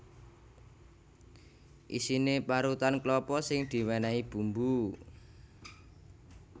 Isiné parutan klapa sing diwènèhi bumbu